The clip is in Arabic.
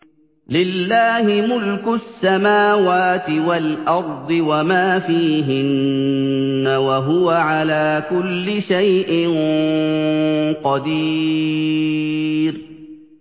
لِلَّهِ مُلْكُ السَّمَاوَاتِ وَالْأَرْضِ وَمَا فِيهِنَّ ۚ وَهُوَ عَلَىٰ كُلِّ شَيْءٍ قَدِيرٌ